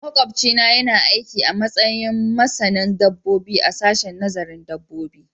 Makwabcina yana aiki a matsayin masanin dabbobi a sashen nazarin dabbobi